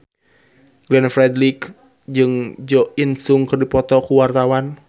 Glenn Fredly jeung Jo In Sung keur dipoto ku wartawan